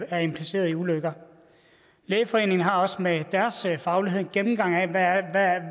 er impliceret i ulykker lægeforeningen har også med deres faglighed en gennemgang af